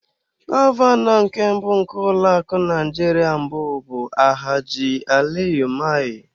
Gọvanọ nke mbụ nke ụlọ akụ Naijiria mbụ bụ Alhaji Aliyu Mai.